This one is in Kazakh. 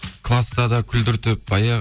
класта да күлдіртіп баяғы